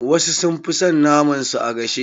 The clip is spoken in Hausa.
Wasu sun fi son fi son naman su a gashe.